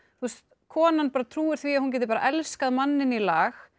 konan trúir því að hún geti bara elskað manninn í lag